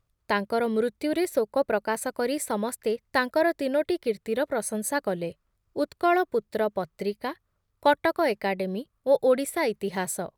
ତାଙ୍କର ମୃତ୍ୟୁରେ ଶୋକ ପ୍ରକାଶ କରି ସମସ୍ତେ ତାଙ୍କର ତିନୋଟି କୀର୍ତ୍ତିର ପ୍ରଶଂସା କଲେ, ଉତ୍କଳପୁତ୍ର ପତ୍ରିକା, କଟକ ଏକାଡେମୀ ଓ ଓଡ଼ିଶା ଇତିହାସ ।